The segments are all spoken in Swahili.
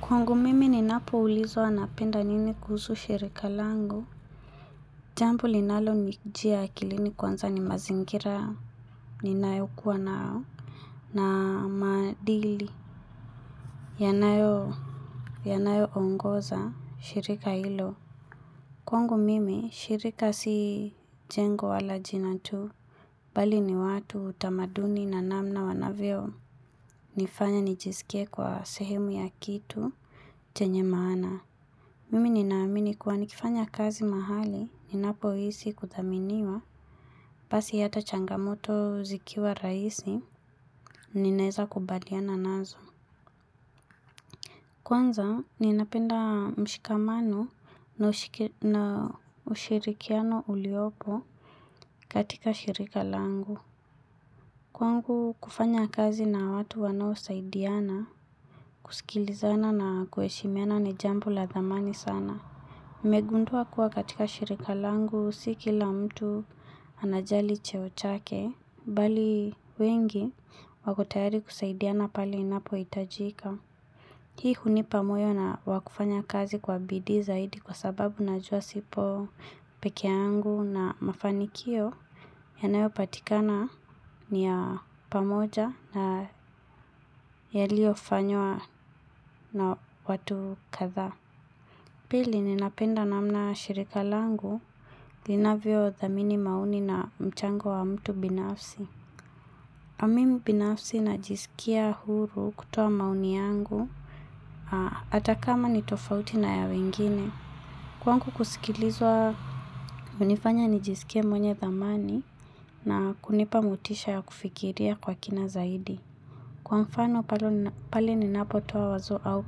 Kwangu mimi ninapo ulizwa napenda nini kuhusu shirika langu. Jambu linalo nijia akilini kwanza ni mazingira. Ninayo kuwa nao. Na maadili. Yanayo. Yanayo ongoza shirika hilo. Kwangu mimi shirika si jengo wala jina tu. Bali ni watu utamaduni na namna wanavyo. Nifanya nijisikie kwa sehemu ya kitu. Chenye maana. Mimi ninaamini kuwa nikifanya kazi mahali, ninapo hisi kuthaminiwa, pasi hata changamoto zikiwa rahisi, ninaeza kubaliana nazo. Kwanza, ninapenda mshikamano na ushirikiano uliopo katika shirika langu. Kwangu kufanya kazi na watu wanao saidiana, kusikilizana na kuheshimiana ni jambo la dhamani sana. Nimegundua kuwa katika shirika langu siki la mtu anajali cheochake. Bali wengi wakotayari kusaidiana pale inapohitajika. Hii hunipa moyo na wakufanya kazi kwa bidii zaidi kwa sababu najua sipo peke yangu na mafanikio yanayo patikana ni ya pamoja na yalio fanywa na watu kathaa. Pili ninapenda namna shirika langu linavyo dhamini maoni na mchango wa mtu binafsi. Mimi binafsi najisikia huru kutoa maoni yangu hatakama ni tofauti na ya wengine. Kwangu kusikilizwa hunifanya nijiskie mwenye dhamani na kunipa motisha ya kufikiria kwa kina zaidi. Kwa mfano pale ninapotoa wazo au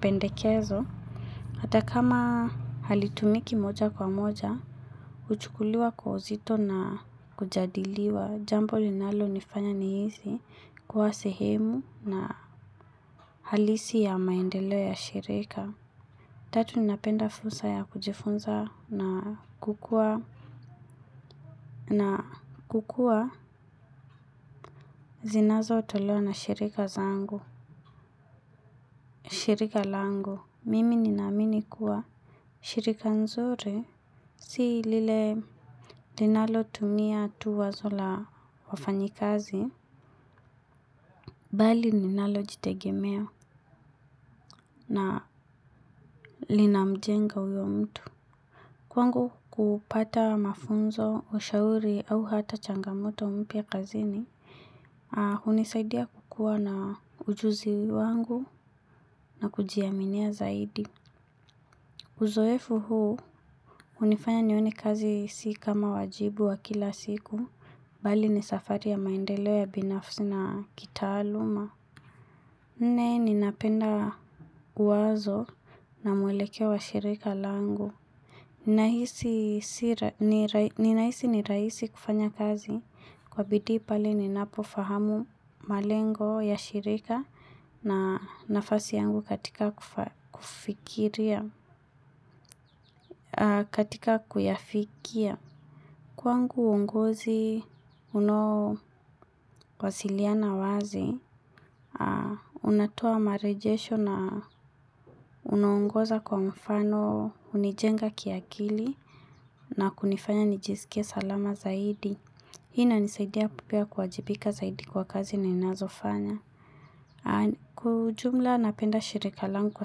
pendekezo, hata kama halitumiki moja kwa moja, huchukuliwa kwa uzito na kujadiliwa, jambo linalo nifanya ni hisi kuwa sehemu na halisi ya maendeleo ya shirika. Tatu ninapenda fursa ya kujifunza na kukua. Na kukua zinazo tolewa na shirika zangu. Shirika langu, mimi ninaamini kuwa shirika nzuri, si lile linalo tumia tu wazo la wafanyikazi bali linalo jitegemea na linamjenga uyo mtu. Kwangu kupata mafunzo ushauri au hata changamoto mpya kazini. Haa, hunisaidia kukua na ujuzi wangu na kujiaminia zaidi. Uzoefu huu, hunifanya nione kazi si kama wajibu wa kila siku, bali ni safari ya maendeleo ya binafsi na kitaaluma. Nne, ninapenda uwazo na mwelekeo wa shirika langu. Ninahisi ni rahisi kufanya kazi kwa bidii pale ninapofahamu malengo ya shirika na nafasi yangu katika kufikiria, katika kuyafikia. Kwangu uongozi unao wasiliana wazi, unatoa marejesho na unaongoza kwa mfano hunijenga kiakili na kunifanya nijisikia salama zaidi. Hii inanisaidia pia kuajibika zaidi kwa kazi ninazofanya. Kwa ujumla napenda shirika langu kwa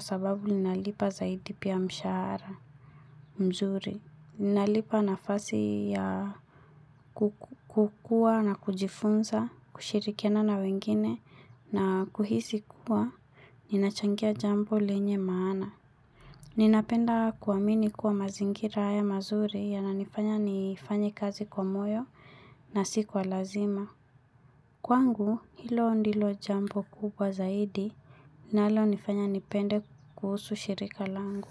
sababu linalipa zaidi pia mshahara mzuri. Ninalipa nafasi ya kukua na kujifunza, kushirikiana na wengine na kuhisi kuwa, ninachangia jambo lenye maana. Ninapenda kuamini kuwa mazingira haya mazuri yananifanya nifanye kazi kwa moyo nasi kwa lazima. Kwangu, hilo ndilo jambo kubwa zaidi linalo nifanye nipende kuhusu shirika langu.